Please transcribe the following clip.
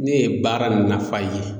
Ne ye baara nafa ye.